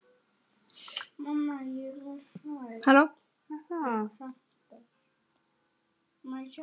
Svartan hatt.